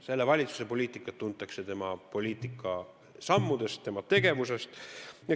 Selle valitsuse poliitikat tuntakse tema poliitikasammudest, tema tegevusest.